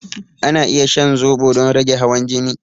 Ana iya shan zobo don rage hawan jini